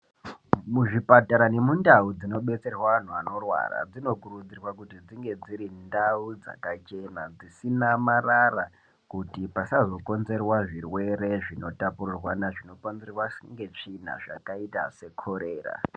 Muzvipatara ne mundau dzino detserwa anhu ano rwara muno kurudzirwa kuti dzinge dziri ndau dzaka chena dzisina marara kuti pasazo konzerwa zvirwere zvino tapurirwana zvino konzerwa ne tsvina zvakaita se kolera.